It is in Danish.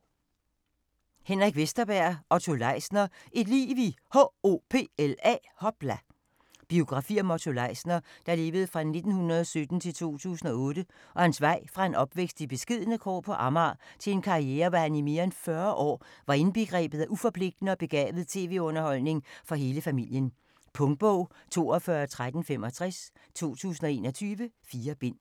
Vesterberg, Henrik: Otto Leisner: et liv i H.O.P.L.A. Biografi om Otto Leisner (1917-2008) og hans vej fra en opvækst i beskedne kår på Amager til en karriere hvor han i mere 40 år var indbegrebet af uforpligtende og begavet tv-underholdning for hele familien. Punktbog 421365 2021. 4 bind.